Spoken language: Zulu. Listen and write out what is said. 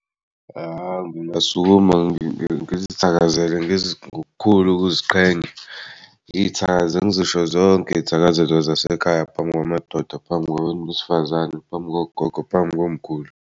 Hawu, ngingasukuma ngizithakazele ngokukhulu ukuziqhenya ngizithakaze ngizisho zonke izithakazelo zasekhaya phambi kwamadoda, phambi kwabantu besifazane phambi kogogo, phambi komkhulu.